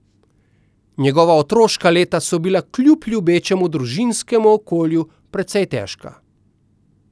Njegova otroška leta so bila kljub ljubečemu družinskemu okolju precej težka.